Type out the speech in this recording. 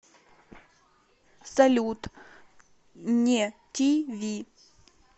салют не ти ви